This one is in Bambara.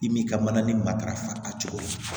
I m'i ka mana ni matarafa a cogo ye